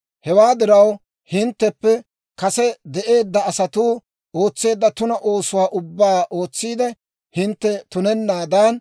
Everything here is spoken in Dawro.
« ‹Hewaa diraw hintteppe kase de'eedda asatuu ootseedda tuna oosotuwaa ubbaa ootsiide hintte tunennaadan,